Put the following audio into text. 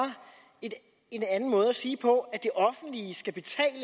en anden måde at sige